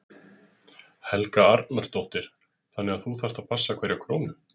Helga Arnardóttir: Þannig að þú þarft að passa hverja krónu?